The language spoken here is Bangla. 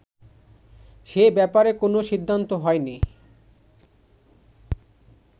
সে ব্যাপারে কোনো সিদ্ধান্ত হয়নি